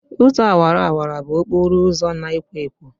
Ụzọ awara awara bụ okporo ụzọ na-ekwo ekwo.